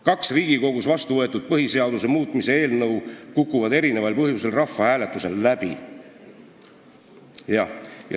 Kaks Riigikogus vastu võetud põhiseaduse muutmise eelnõu kukuvad erinevatel põhjustel rahvahääletusel läbi.